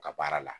U ka baara la